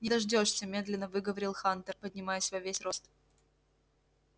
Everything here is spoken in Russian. не дождёшься медленно выговорил хантер поднимаясь во весь рост